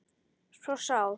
svo sár